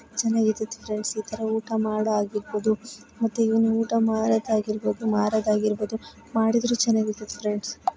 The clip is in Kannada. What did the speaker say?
ಚೆನ್ನಾಗಿರುತ್ತೆ ಫ್ರೆಂಡ್ಸ್ ಇದರ ಊಟ ಮಾಡಹಾಗಿರಬಹುದು ಮತ್ತೆ ಇವನು ಊಟ ಮಾಡೋದಾಗಿರಬಹುದು ಮಾರದಾಗಿರಬಹುದು ಮಾಡಿದ್ರು ಚೆನ್ನಾಗಿರುತ್ತೆ ಫ್ರೆಂಡ್ಸ್ .